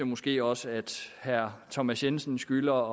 måske også at herre thomas jensen skylder